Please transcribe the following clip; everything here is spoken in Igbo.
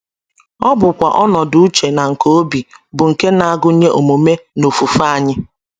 Ọ bụkwa ọnọdụ uche na nke obi bụ́ nke na - agụnye omume na ofufe anyị.